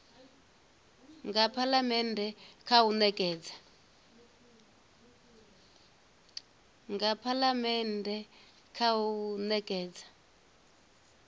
nga phalamennde kha u nekedza